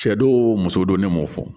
Cɛ don muso don ne m'o fɔ